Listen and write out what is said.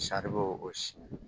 saribɔn o si